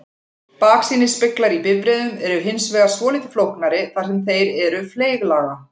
Baksýnisspeglar í bifreiðum eru hins vegar svolítið flóknari þar sem þeir eru fleyglaga.